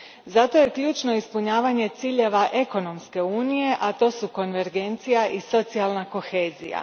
Zato je ključno ispunjavanje ciljeva ekonomske unije, a to su konvergencija i socijalna kohezija.